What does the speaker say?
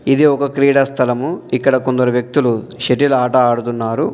ఇది ఒక క్రీడా స్థలము. ఇక్కడ కొందరు వ్యక్తులు షటిల్ ఆట ఆడుతున్నారు.